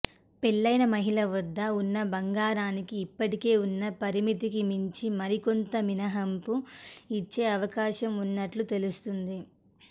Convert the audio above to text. పెళ్లైన మహిళల వద్ద ఉన్న బంగారానికి ఇప్పటికే ఉన్న పరిమితికి మించి మరికొంత మినహాంపు ఇచ్చే అవకాశం ఉన్నట్లు తెలుస్తోంది